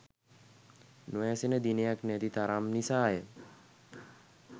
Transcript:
නොඇසෙන දිනයක් නැති තරම් නිසාය